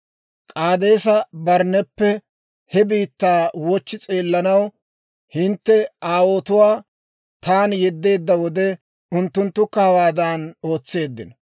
K'aadeesa-Barnneppe he biittaa wochchi s'eellanaw hintte aawotuwaa taani yeddeedda wode, unttunttukka hawaadan ootseeddino.